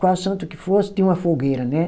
Qual santo que fosse, tinha uma fogueira, né?